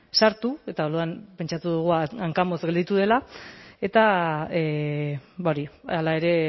sartu eta orduan pentsatu dugu hankamotz gelditu dela eta hala ere